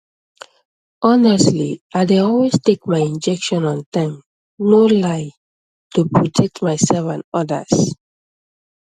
honestly i dey always take my injection on time no lie to protect myself and others